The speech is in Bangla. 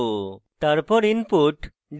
তারপর